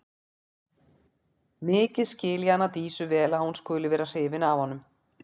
Mikið skil ég hana Dísu vel að hún skuli vera hrifin af honum.